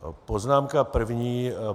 Poznámka první.